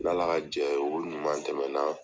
N'Ala ka jɛ ye o ɲuman tɛmɛ na.